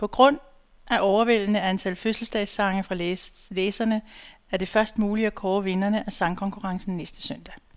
På grund af overvældende antal fødselsdagssange fra læserne, er det først muligt at kåre vinderne af sangkonkurrencen næste søndag.